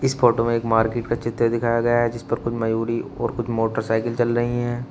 Photo में एक market का चित्र दिखाया गया है जिस पर कुछ मयूरी और कुछ मोटरसाइकिल चल रही हैं।